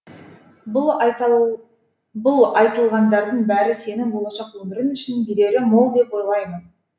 бұл айтылғандардың бәрі сенің болашақ өмірің үшін берері мол деп ойлаймын